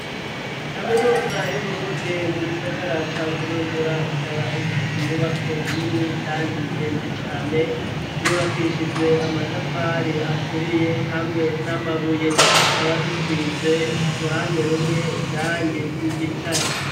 Kaminuza y'Uburundi, mu gisagara ca Bujumbura, ikaba ifise inyubako nini, kandi ndende cane; zubakishijwe amatafari aturiye, hamwe n'amabuye; zikaba zisize, uruhande rumwe, irangi ry'igitare.